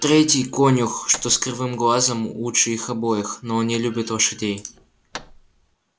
третий конюх что с кривым глазом лучше их обоих но он не любит лошадей